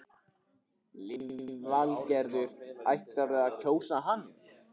Lillý Valgerður: Ætlarðu að kjósa hann?